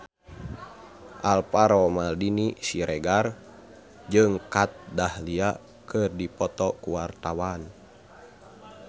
Alvaro Maldini Siregar jeung Kat Dahlia keur dipoto ku wartawan